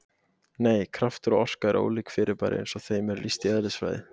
Nei, kraftur og orka eru ólík fyrirbæri eins og þeim er lýst í eðlisfræði.